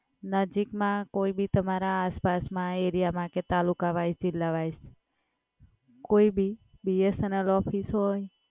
નજિક માં કોઈ ભી તમારા આસ-પાસમાં કે આરિયામાં કે તાલુકા વાઈસ જીલ્લા વાઈસ કોઈ ભી BSNL ઓફિસ હોય.